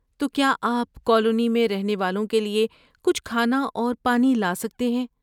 تو کیا آپ کالونی میں رہنے والوں کے لیے کچھ کھانا اور پانی لا سکتے ہیں۔